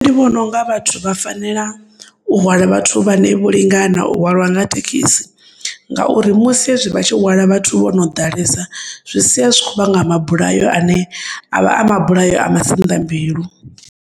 Ndi vhononga vhathu vha fanela u hwala vhathu vhane vholingana u hwalwa nga thekisi ngauri musi hezwi vhatshi hwala vhathu vhono ḓalesa zwisiya zwikho vhanga mabulayo ane avha amabulayo a masinḓambilu.